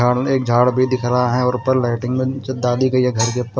सामने एक झाड़ भी दिख रहा है और ऊपर लाइटिंग में जो दादी के ये घर के ऊपर--